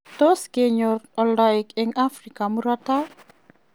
Tos ngeyor oldoik en Africa murto taai.